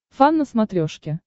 фан на смотрешке